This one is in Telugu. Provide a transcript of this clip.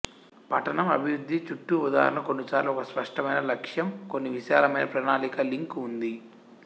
పఠనం అభివృద్ధి చుట్టూ ఉదాహరణకు కొన్నిసార్లు ఒక స్పష్టమైన లక్ష్యం కొన్ని విశాలమైన ప్రణాళిక లింక్ ఉంది